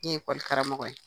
I ye ekɔli karamɔgɔ ye.